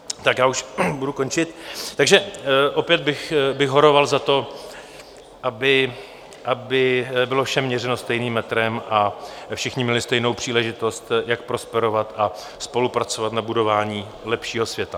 Tak já už budu končit, takže opět bych horoval za to, aby bylo všem měřeno stejným metrem a všichni měli stejnou příležitost, jak prosperovat a spolupracovat na budování lepšího světa.